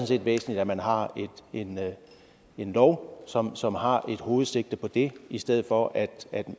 set væsentligt at man har en en lov som som har et hovedsigte på det i stedet for at